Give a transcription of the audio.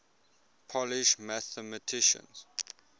polish mathematicians